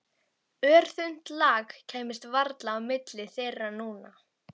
Örþunnt lak kæmist varla á milli þeirra núna.